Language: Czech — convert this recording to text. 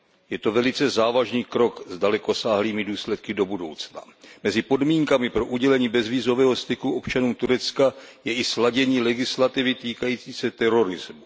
Je to velice závažný krok s dalekosáhlými důsledky do budoucna. Mezi podmínkami pro udělení bezvízového styku občanům Turecka je i sladění legislativy týkající se terorismu.